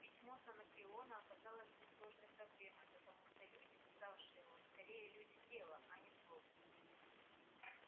письмо с анакреона оказалось несложной проблемой потому что люди писавшие его скорее люди дела а не слов